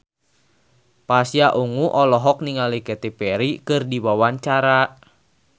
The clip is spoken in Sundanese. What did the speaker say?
Pasha Ungu olohok ningali Katy Perry keur diwawancara